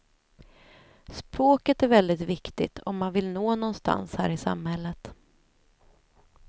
Språket är väldigt viktigt om man vill nå någonstans här i samhället.